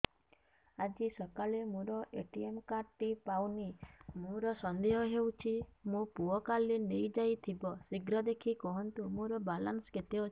ଆଜି ସକାଳେ ମୋର ଏ.ଟି.ଏମ୍ କାର୍ଡ ଟି ପାଉନି ମୋର ସନ୍ଦେହ ହଉଚି ମୋ ପୁଅ କାଳେ ନେଇଯାଇଥିବ ଶୀଘ୍ର ଦେଖି କୁହନ୍ତୁ ମୋର ବାଲାନ୍ସ କେତେ ଅଛି